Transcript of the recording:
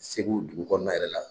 Segu dugu kɔnɔna yɛrɛ la.